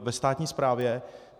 ve státní správě.